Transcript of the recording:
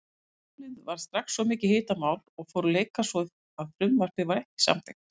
Málið varð strax mikið hitamál og fóru leikar svo að frumvarpið var ekki samþykkt.